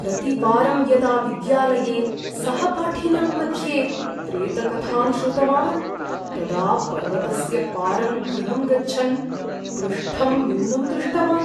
प्रतिवारं यदा विद्यालये सहपाठिनां मध्ये प्रेतकथां श्रुतवान्, तदा पर्वतस्य पारं गृहं गच्छन् पृष्ठं नूनं दृष्टवान्।